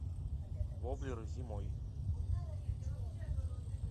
воблеры зимой